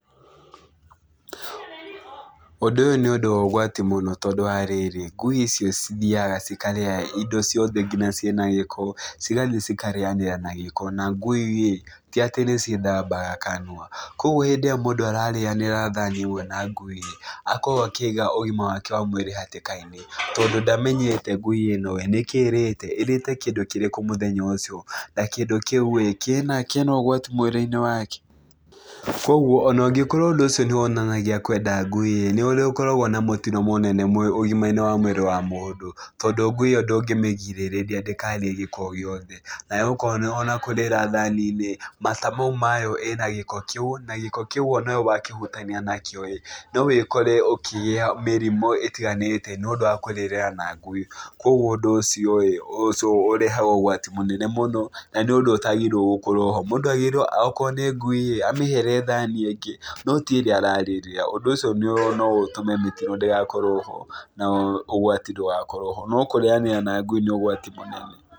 Ũndũ ũyũ nĩ ũndũ wa ũgwati mũno tondũ wa rĩrĩ, ngui icio cithiaga cikarĩa indo ciothe nginya ciĩna gĩko. Cigathi cikarĩania na gĩko, na ngui ti atĩ nĩ ciĩthambaga kanua. Kũguo hĩndĩ ĩrĩa mũndũ ararĩanĩra thani ĩmwe na ngui, akoragwo akĩiga ũgima wake wa mwĩrĩ hatka-inĩ, tondũ ndamenyete ngui ĩno, nĩ kĩ ĩrĩte? ĩrĩte kĩndũ kĩrĩkũ mũthenya ũcio? Na kĩndũ kĩu ĩĩ, kĩna kĩna ũgwati mwĩrĩ-inĩ wake? Kũguo, ona ũngĩkorwo ũndũ ũcio nĩ wonanagia kwenda ngui ĩĩ, nĩ ũkoragwo na mũtino mũnene ũgima-inĩ wa mwĩrĩ wa mũndũ, tondũ ngui ĩyo ndũngĩmĩgirĩrĩa ndĩkarĩe gĩko o gĩothe. Na ũkona ona kũrĩra thani ĩĩ, mata mau mayo ĩna gĩko kĩu, na gĩko kĩu ona wakĩhutania nakĩo ĩĩ, no wĩkore ũkĩgĩa mĩrimũ ĩtiganĩte nĩ ũndũ wa kũrĩrĩra na ngui. Kũguo ũndũ ũcio ĩĩ, ũrehaga ũgwati mũnene mũno. Na nĩ ũndũ ũtagĩrĩirwo gũkorwo ho. Mũndũ agĩrĩirwo okorwo nĩ ngui ĩĩ, amĩhere thani ĩngĩ, no ti ĩrĩa ararĩrĩra. Ũndũ ũcio no ũtũme mĩtino ndĩgakorwo ho na ũgwati ndũgakorwo ho. No kũrĩanĩra na ngui nĩ ũgwati mũnene.